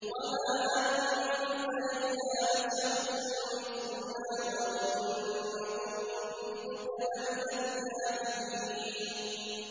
وَمَا أَنتَ إِلَّا بَشَرٌ مِّثْلُنَا وَإِن نَّظُنُّكَ لَمِنَ الْكَاذِبِينَ